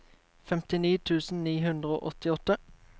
femtini tusen ni hundre og åttiåtte